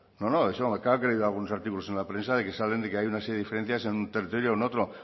no no claro que he leído algunos artículos en la prensa de que saben que hay una serie de diferencias en un territorio o en otro